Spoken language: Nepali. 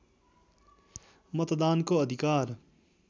मतदानको अधिकार